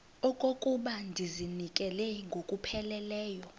okokuba ndizinikele ngokupheleleyo